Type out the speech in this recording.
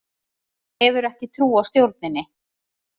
Hefur ekki trú á stjórninni